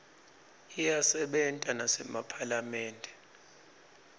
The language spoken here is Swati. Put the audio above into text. iyasebenta nasemaphalamende